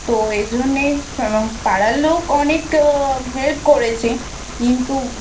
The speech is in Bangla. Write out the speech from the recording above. তো এই জন্যেই মানে পাড়ার লোক অনেক Help করেছে. কিন্তু